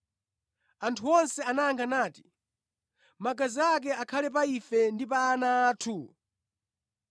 Anthu onse anayankha nati, “Magazi ake akhale pa ife ndi pa ana athu!”